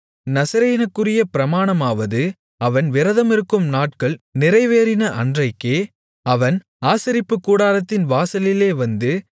நசரேயனுக்குரிய பிரமாணமாவது அவன் விரதமிருக்கும் நாட்கள் நிறைவேறின அன்றைக்கே அவன் ஆசரிப்புக்கூடாரத்தின் வாசலிலே வந்து